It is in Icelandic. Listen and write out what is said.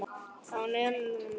Á einn eða annan hátt.